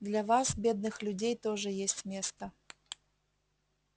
для вас бедных людей тоже есть место